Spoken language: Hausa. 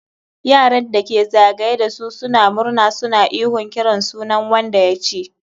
Yaran da ke za gaye da su suna murna suna ihon kiran sunan wanda ya ci.